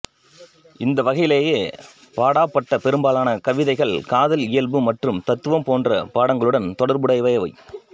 இந்த வகையிலேயே பாடப்பட்ட பெரும்பாலான கவிதைகள் காதல் இயல்பு மற்றும் தத்துவம் போன்ற பாடங்களுடன் தொடர்புடையவை